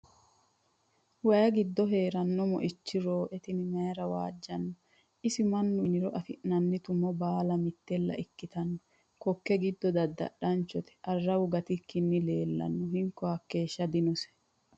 Waayi giddo heerano moicho rooe tene mayira waajjano isi mannu yinniro afi'nanni tumo baalla mitella ikkittano koke giddo dadadhachote arawu gatikki leellannu ni hinko hakeeshsha dinose.